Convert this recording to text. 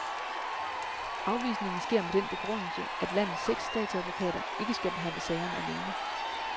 Afvisningen sker med den begrundelse, at landets seks statsadvokater ikke skal behandle sagerne alene.